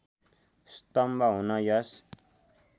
स्तम्भ हुन यस